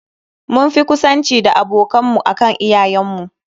Mun fi ƙusanci da abokan mu akan iyayen mu.